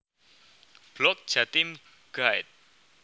Blog Jatim Guide